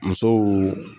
Musow